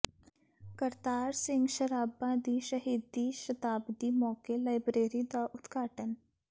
ਕਰਤਾਰ ਸਿੰਘ ਸ਼ਰਾਭਾ ਦੀ ਸ਼ਹੀਦੀ ਸ਼ਤਾਬਦੀ ਮੌਕੇ ਲਾਇਬਰੇਰੀ ਦਾ ਉਦਘਾਟਨ